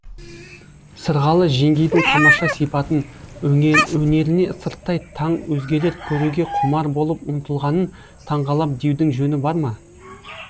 сырғалы жеңгейдің тамаша сипатын өнеріне сырттай таң өзгелер көруге құмар болып ұмтылғанын таңғалам деудің жөні бар ма